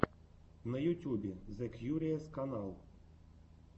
на ютьюбе зэ кьюриэс канал